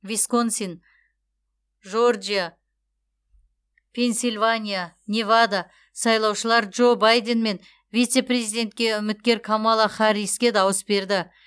висконсин жорджия пенсильвания невада сайлаушылар джо байден мен вице президентке үміткер камала харриске дауыс берді